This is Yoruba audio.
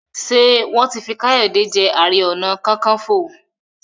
Ṣe wọn tí fí Kayode je aré ọnà kankanfo?